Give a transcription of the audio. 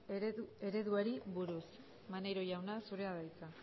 ereduari buruz maneiro jauna zure da hitza